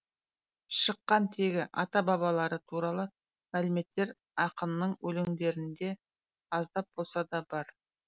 шыққан тегі ата бабалары туралы мәліметтер ақынның өлеңдерінде аздап болса да бар